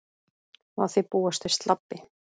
Má því búast við slabbi